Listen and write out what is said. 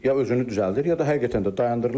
Ya özünü düzəldir, ya da həqiqətən də dayandırılır.